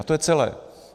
A to je celé.